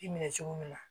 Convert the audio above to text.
I minɛ cogo min na